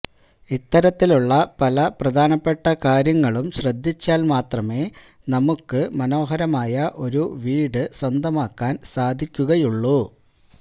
ഇത്തരത്തിലുള്ള പല പ്രധാനപ്പെട്ട കാര്യങ്ങളും ശ്രദ്ധിച്ചാല് മാത്രമേ നമ്മുക്ക് മനോഹരമായ ഒരു വീട് സ്വന്തമാക്കാന് സാധിക്കുകയുള്ളു